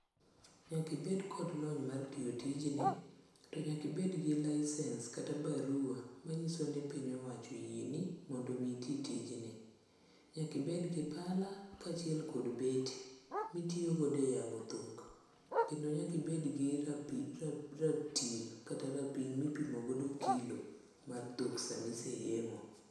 Nyaka ibed kod lony mar tiyo tijni to nyaka ibed gi licence kata bara manyiso ni piny owacho oyieni mondo itim tijni. nyaka ibed gi pala kachiel kod beti mitiyo go e yango dhok, kendo nyaka ibed gi ratil kata rapim mipimo godo kilo mar dhok sama iseyengo.